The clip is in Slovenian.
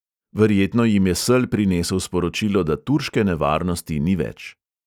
Verjetno jim je sel prinesel sporočilo, da turške nevarnosti ni več.